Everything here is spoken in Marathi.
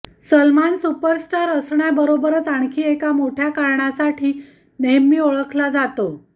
सलमान सुपरस्टार असण्याबरोबरच आणखी एका मोठ्या कारणासाठी नेहमी ओळखला जातो